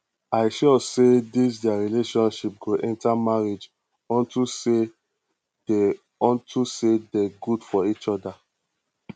i sure say dis their relationship go enter marriage unto say dey unto say dey good for each other